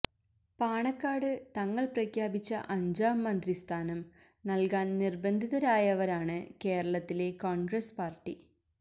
പാണക്കാട് തങ്ങൾ പ്രഖ്യാപിച്ച അഞ്ചാം മന്ത്രി സ്ഥാനം നല്കാന് നിര്ബന്ധിതരായവരാണ് കേരളത്തിലെ കോണ്ഗ്രസ് പാര്ട്ടി